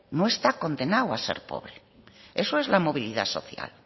no está condenado a ser pobre eso es la movilidad social